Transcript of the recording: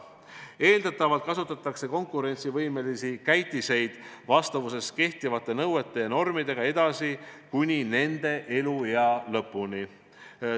Eeldatavalt kasutatakse konkurentsivõimelisi käitiseid vastavuses kehtivate nõuete ja normidega edasi kuni nende eluea lõpuni.